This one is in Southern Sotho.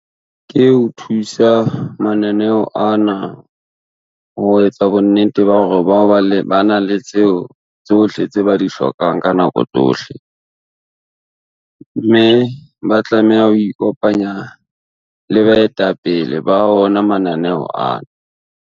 Ke ho thusa mananeo ana, ho etsa bonnete ba hore ba na le tseo tsohle tse ba di hlokang ka nako tsohle, mme ba tlameha ho ikopanya le baetapele ba ona mananeo ana.